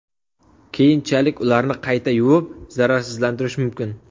Keyinchalik ularni qayta yuvib, zararsizlantirish mumkin.